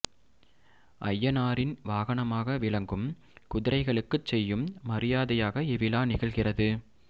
ஐயனாரின் வாகனமாக விளங்கும் குதிரைகளுக்குச் செய்யும் மரியாதையாக இவ்விழா நிகழ்கிறது